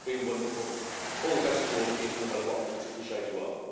It's been wonderful, all the best to all of you, no matter what political shade you are.